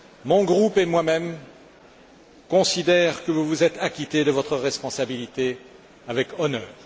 Mon groupe et moi même considérons que vous vous êtes acquitté de votre responsabilité avec honneur.